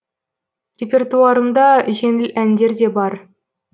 репертуарымда жеңіл әндер де бар